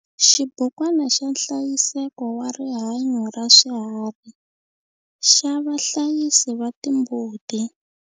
Xibukwana xa nhlayiseko wa rihanyo raswiharhi xa vahlayisi va timbuti.